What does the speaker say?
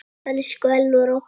Elsku Elvar okkar.